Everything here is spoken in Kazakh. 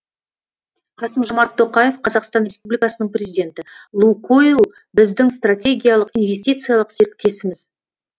қасым жомарт тоқаев қазақстан республикасының президенті лукойл біздің стратегиялық инвестициялық серіктесіміз